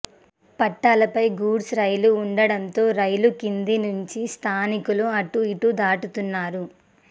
పట్టాలపై goods rail ఉండడంతో rail కింది నుంచి స్థానికులు అటు ఇటు దాటుతున్నారు